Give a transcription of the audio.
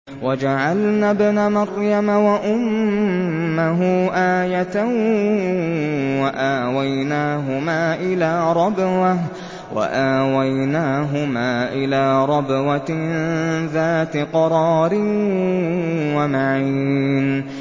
وَجَعَلْنَا ابْنَ مَرْيَمَ وَأُمَّهُ آيَةً وَآوَيْنَاهُمَا إِلَىٰ رَبْوَةٍ ذَاتِ قَرَارٍ وَمَعِينٍ